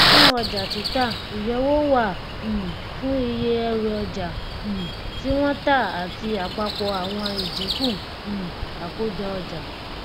fun ọjà títà ìyọwó wà um fún iye ẹrùọjà um tí wọn tà àti àpapọ àwọn ìdínkù um àkójọọjà